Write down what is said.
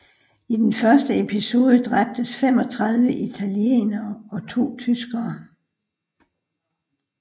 I den første episode dræbtes 35 italienere og to tyskere